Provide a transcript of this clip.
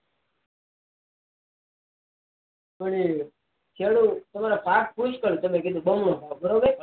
પણ એ જરૂર પાક એ પુષ્કળ જેમકે જેમ બમણો થાય બરોબર